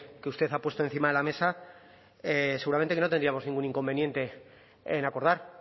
que usted ha puesto encima de la mesa seguramente que lo tendríamos ningún inconveniente en acordar